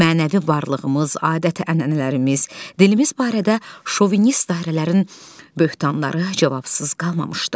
Mənəvi varlığımız, adət-ənənələrimiz, dilimiz barədə şovinist dairələrin böhtanları cavabsız qalmamışdı.